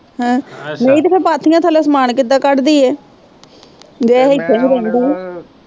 ਹਾਂ ਨਹੀਂ ਤੇ ਫਿਰ ਪਾਥੀਆਂ ਥੱਲਿਓਂ ਸਮਾਨ ਕਿਦਾਂ ਕੱਢਦੀ ਇਹ ਜੇ ਇੱਥੇ ਨਹੀਂ ਰਹਿੰਦਾ